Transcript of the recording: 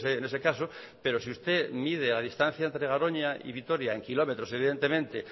en ese caso pero si usted mide la distancia entre garoña y vitoria en kilómetros evidentemente